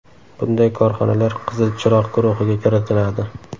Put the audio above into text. Bunday korxonalar ‘Qizil chiroq’ guruhiga kiritiladi.